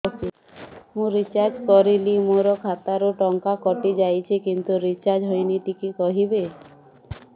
ମୁ ରିଚାର୍ଜ କରିଲି ମୋର ଖାତା ରୁ ଟଙ୍କା କଟି ଯାଇଛି କିନ୍ତୁ ରିଚାର୍ଜ ହେଇନି ଟିକେ କହିବେ